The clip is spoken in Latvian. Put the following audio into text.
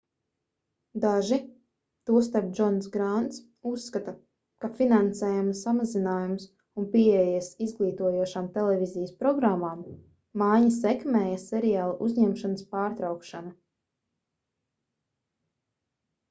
daži tostarp džons grānts uzskata ka finansējuma samazinājums un pieejas izglītojošām televīzijas programmām maiņa sekmēja seriāla uzņemšanas pārtraukšanu